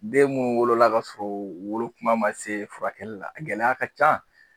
Den munnu wolola k'a sɔrɔ u wolo kuma ma se furakɛli la a gɛlɛya ka ca